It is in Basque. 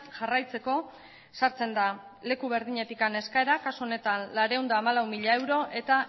jarraitzeko sartzen da leku berdinetik eskaera kasu honetan laurehun eta hamalau mila euro eta